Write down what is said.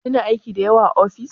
Kina aiki da yawa a ofis?